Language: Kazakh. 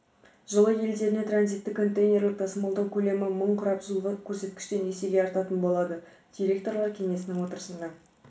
жылы елдеріне транзиттік контейнерлік тасымалдау көлемі мың құрап жылғы көрсеткіштен есеге артатын болады директорлар кеңесінің отырысында